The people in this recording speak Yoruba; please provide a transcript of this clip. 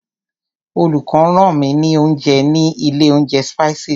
Olùkó rán mi ní oúnjẹ ní ilé oúnjẹ Spices.